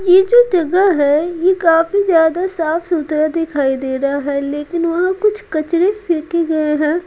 यह जो जगह है यह काफी ज्यादा साफ-सुथरा दिखाई दे रहा है लेकिन वहां कुछ कचड़े फेंके गए हैं।